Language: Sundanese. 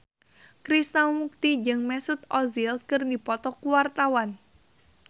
Krishna Mukti jeung Mesut Ozil keur dipoto ku wartawan